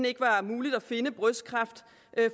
ikke var muligt at finde brystkræft